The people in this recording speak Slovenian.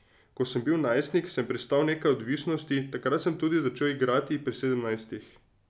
Ko sem bil najstnik, sem prestal nekaj odvisnosti, takrat sem tudi začel igrati, pri sedemnajstih.